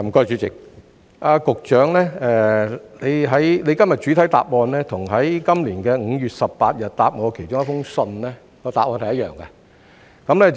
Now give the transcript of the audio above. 主席，局長今天的主體答覆與他在今年5月18日回覆我的信件中的答案是一樣的。